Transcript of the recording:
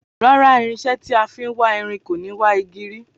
Rárá, irinsé tí a fin wá irin kò ni wà igi rí